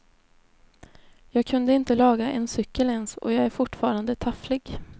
Jag kunde inte laga en cykel ens och jag är fortfarande tafflig.